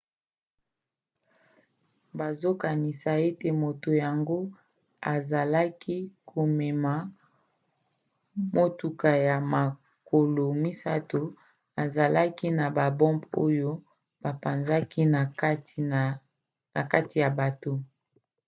bazokanisa ete moto yango azalaki komema motuka ya makolo misato ezalaki na babombe oyo apanzaki na kati ya bato